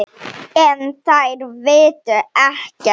En þær vita ekkert.